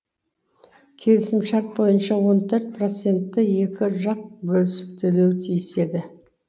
келісім шарт бойынша он төрт процентті екі жақ бөлісіп төлеуі тиіс еді